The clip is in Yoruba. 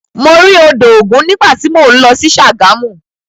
Mo rí odò ògun nígbà tí mò ń lọ sí Ṣàgámù.